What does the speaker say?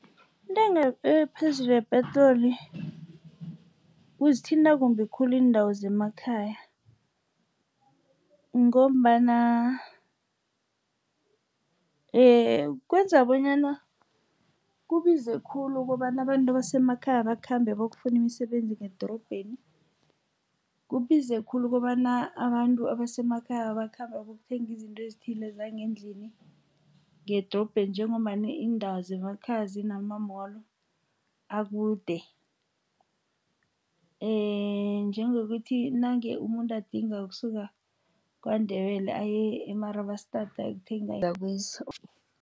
Intengo ephezulu yepetroli kuzithinta kumbi khulu iindawo zemakhaya, ngombana kwenza bonyana kubize khulu ukobana abantu abasemakhaya bakhambe bokufunda imisebenzi ngedorobheni. Kubize khulu ukobana abantu abasemakhaya bakhambe bokuthenga izinto ezithile zangendlini ngedorobheni, njengombana iindawo zemakhaya zinama-mall akude, njengokuthi nange umuntu adinga ukusuka KwaNdebele aye e-Marabastard ayokuthenga